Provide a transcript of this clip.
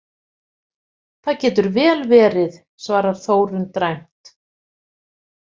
Það getur vel verið, svarar Þórunn dræmt.